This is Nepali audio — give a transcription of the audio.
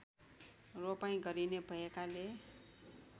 रोपाइँ गरिने भएकाले